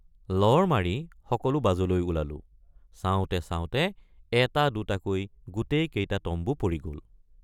লৰ মাৰি সকলো বাজলৈ ওলালোঁ চাওঁতে চাওঁতে এটা দুটাকৈ গোটেই কেইটা তম্বু পৰি গল।